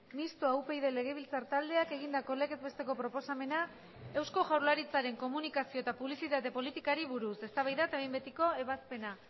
mistoa upyd legebiltzar taldeak egindako legez besteko proposamena eusko jaurlaritzaren komunikazio eta publizitate politikari buruz eztabaida eta behin betiko ebazpena